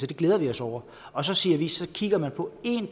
det glæder vi os over og så siger vi at så kigger man på en